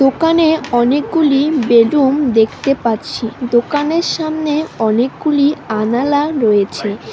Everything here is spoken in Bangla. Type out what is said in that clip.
দোকানে অনেকগুলি বেলুন দেখতে পাচ্ছি দোকানের সামনে অনকগুলি আনালা রয়েছে।